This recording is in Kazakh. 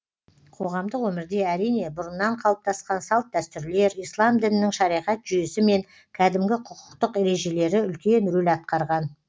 қоғамдық өмірде әрине бұрыннан қалыптасқан салт дәстүрлер ислам дінінің шариғат жүйесі мен кәдімгі құқықтық ережелері үлкен рөл атқарған